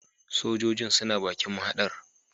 Sojojin suna bakin mahadar